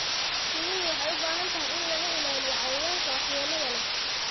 Shinnidu waxay u baahan tahay in laga ilaaliyo cayayaanka waxyeelada leh.